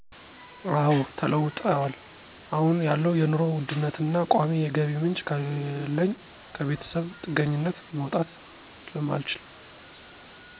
አወ ተለውጠዋል። አሁን ያለው የኑሮ ውድነቱና ቋሚ የገቢ ምንጭ ከሌለኝ ከቤተሰብ ጥገኝነት መውጣት ስለማልችል።